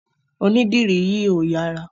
Onídìrí yìí ò yára.